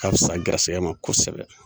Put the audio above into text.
O ka fisa an garisɛgɛ ma kosɛbɛ.